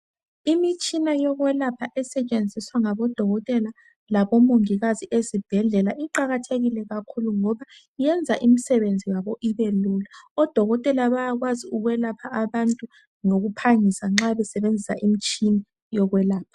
Imitshina yokwelapha esetshenziswa ngabodokotela labo mongikazi ukwelapha ezibhedlela iqakathekile kakhulu ngoba iyenza imsebenzi yabo ibelula odokotela bayakwazi ukwelapha abantu ngokuphangisa nxa besebenzisa imitshina yokwelapha